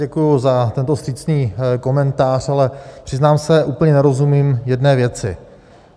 Děkuji za tento vstřícný komentář, ale přiznám se, úplně nerozumím jedné věci.